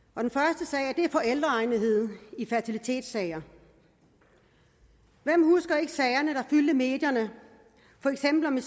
det er forældreegnetheden i fertilitetssager hvem husker ikke sagerne der fyldte medierne for eksempel om det